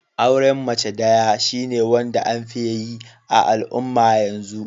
Auren mace daya shine wanda an fi yaye a'alumma yanzu.